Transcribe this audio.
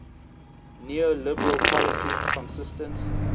neoliberal policies consistent